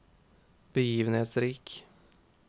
begivenhetsrik